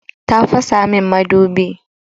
Ta fasa min madubi.